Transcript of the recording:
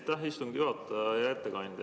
Aitäh, istungi juhataja!